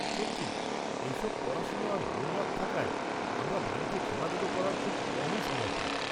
-সত্যি, এইসব পড়াশুনো আর হোমওয়ার্ক থাকায় আমরা বাড়িতে খেলাধুলো করার খুব কমই সময় পাই।